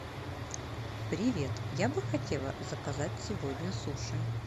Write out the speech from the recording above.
привет я бы хотела заказать сегодня суши